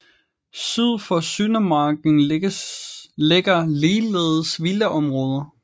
Syd for Søndermarken ligger ligeledes villaområder